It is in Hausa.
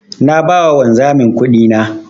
Na ba wa wanzamin kudina.